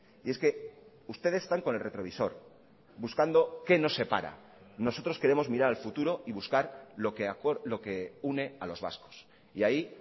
y es que ustedes están con el retrovisor buscando qué nos separa nosotros queremos mirar al futuro y buscar lo que une a los vascos y ahí